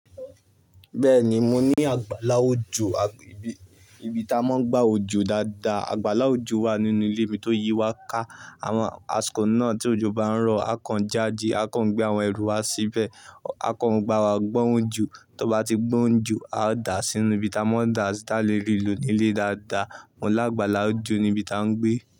Bẹ́ẹ̀ni, mo ní àgbàlá òjò, ibi tí a máa ń gbá òjò dáadáa. Àgbàlá òjò wà nínú ilé mi tó yí wa ká. Àwọn àsìkò náà tí òjò bá ń rọ̀, a kàn jáde, a kàn gbé àwọn ẹrù wa síbẹ̀, a kàn gbà wá gbọ́n òjò. Tó bá ti gbón ojo, a ó dà á sínú ibi tí a máa ń dà á sí, ta a le rii lò ní ilé dáadáa. Mo l'àgbàlá òjò ní ibi tí à ń gbé.